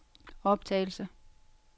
optagelse